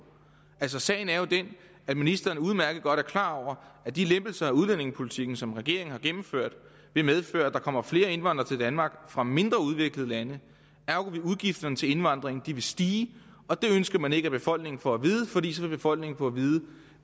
sagen er jo den at ministeren udmærket godt er klar over at de lempelser af udlændingepolitikken som regeringen har gennemført vil medføre at der kommer flere indvandrere til danmark fra mindre udviklede lande ergo vil udgifterne til indvandring stige og det ønsker man ikke at befolkningen får at vide fordi så vil befolkningen få at vide